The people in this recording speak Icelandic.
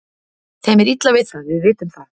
Þeim er illa við það, við vitum það.